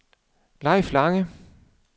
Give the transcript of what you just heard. Leif Lange